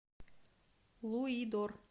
луидор